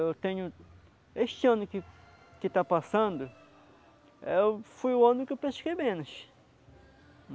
Eu tenho... Este ano que que está passando, foi o ano que eu pesquei menos.